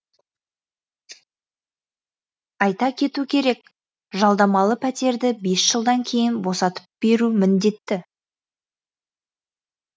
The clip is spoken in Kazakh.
айта кету керек жалдамалы пәтерді бес жылдан кейін босатып беру міндетті